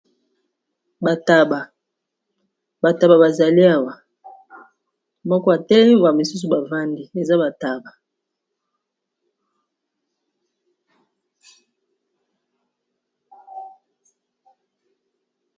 Ba taba, ba taba bazali awa moko atelemi ba misusu bavandi eza bataba.